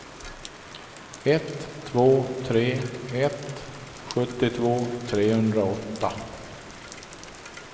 ett två tre ett sjuttiotvå trehundraåtta